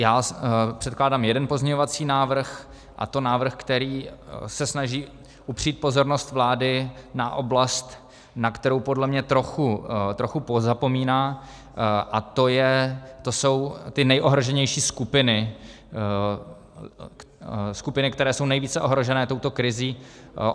Já předkládám jeden pozměňovací návrh, a to návrh, který se snaží upřít pozornost vlády na oblast, na kterou podle mě trochu pozapomíná, a to jsou ty nejohroženější skupiny, skupiny, které jsou nejvíce ohrožené touto krizí.